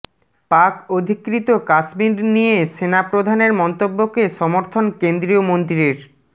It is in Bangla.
পাক অধিকৃত কাশ্মীর নিয়ে সেনাপ্রধানের মন্তব্যকে সমর্থন কেন্দ্রীয় মন্ত্রীর